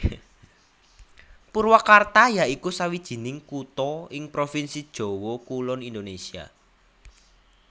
Purwakarta ya iku sawijining kutha ing provinsi Jawa Kulon Indonésia